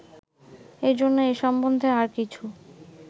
এজন্য এ সম্বন্ধে আর কিছু